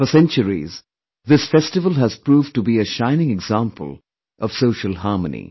For centuries, this festival has proved to be a shining example of social harmony